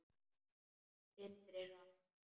Syndir hratt.